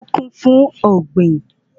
Oko kún fún ògbìn